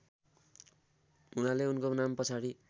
हुनाले उनको नामपछाडि